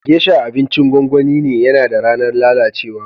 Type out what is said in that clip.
Geisha abincin gongoni ne, yana da ranan lallacewa.